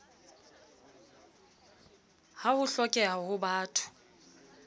ha ho hlokeha ho batho